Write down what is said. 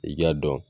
I k'a dɔn